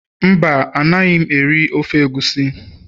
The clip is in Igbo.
Mba, Anaghị m eri ofe egusi